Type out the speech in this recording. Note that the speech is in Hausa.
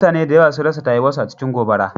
Mutane da yawa sun rasa tayuwa su a cikin gobara.